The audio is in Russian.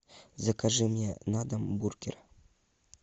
закажи мне на дом бургер